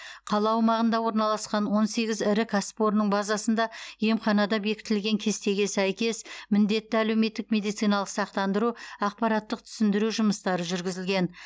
қала аумағында орналасқан он сегіз ірі кәсіпорынның базасында емханада бекітілген кестеге сәйкес міндетті әлеуметтік медициналық сақтандыру ақпараттық түсіндіру жұмыстары жүргізілген